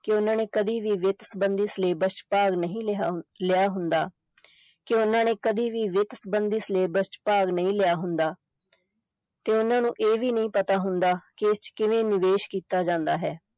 ਕਿ ਉਨ੍ਹਾਂ ਨੇ ਕਦੇ ਵੀ ਵਿੱਤ ਸੰਬੰਧੀ syllabus ਚ ਭਾਗ ਨਹੀਂ ਲਿਆ ਲਿਆ ਹੁੰਦਾ ਹੈ ਕਿ ਉਨ੍ਹਾਂ ਨੇ ਕਦੇ ਵੀ ਵਿੱਤ ਸੰਬੰਧੀ syllabus ਚ ਭਾਗ ਨਹੀਂ ਲਿਆ ਹੁੰਦਾ ਤੇ ਉਹਨਾਂ ਨੂੰ ਇਹ ਵੀ ਨਹੀਂ ਪਤਾ ਹੁੰਦਾ ਕਿ ਇਸ ਚ ਕਿਵੇਂ ਨਿਵੇਸ਼ ਕੀਤਾ ਜਾਂਦਾ ਹੈ।